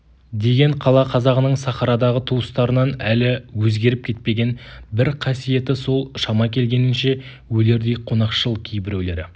деген қала қазағының сахарадағы туыстарынан әлі өзгеріп кетпеген бір қасиеті сол шама келгенінше өлердей қонақшыл кейбіреулері